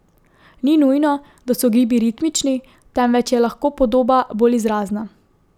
Ni nujno, da so gibi ritmični, temveč je lahko podoba bolj izrazna.